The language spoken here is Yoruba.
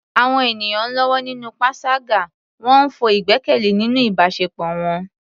Àwọn ènìyàn ń lọ́wọ́ nínú panṣágà, wọ́n ń fọ́ ìgbẹ́kẹ̀lé nínú ìbáṣepọ̀ wọn.